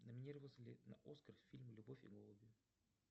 номинировался ли на оскар фильм любовь и голуби